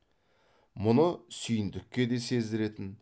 мұны сүйіндікке де сездіретін